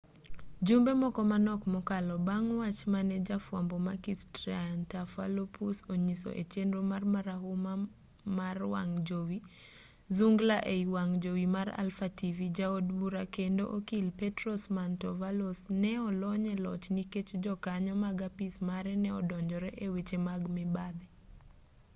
jumbe moko manok mokalo bang' wach mane jafwambo makis triantafylopoulos onyiso e chenro mare marahuma mar wang' jowi zoungla ei wang' jowi mar alpha tv ja od bura kendo okil petros mantouvalos ne olony e loch nikech jokanyo mag apis mare ne odonjore e weche mag mibadhi